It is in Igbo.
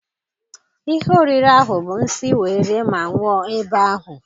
Ihe oriri ahụ bụ nsi wee rie ma nwụọ ebe ahụ.